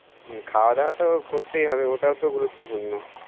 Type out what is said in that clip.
হুম খাওয়া দাওয়া তো করতে ই হবে ওটাও তো গুরুত্বপূর্ণ